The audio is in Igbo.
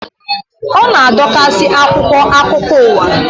Ọ na-adokasị akwụkwọ akụkọ uwa